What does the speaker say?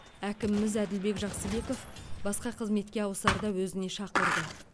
әкіміміз әділбек жақсыбеков басқа қызметке ауысарда өзіне шақырды